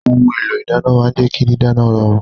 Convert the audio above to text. Ohun èlò ìdáná máa ń jẹ́ kí dídáná rọrùn